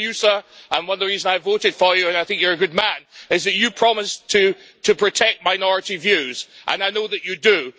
I know you sir, and one of the reasons I voted for you and I think you are a good man is that you promised to protect minority views, and I know that you do.